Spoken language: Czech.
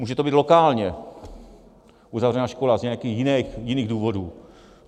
Může to být lokálně uzavřená škola z nějakých jiných důvodů.